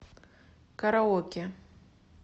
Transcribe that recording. караоке